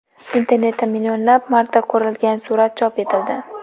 Internetda millionlab marta ko‘rilgan surat chop etildi.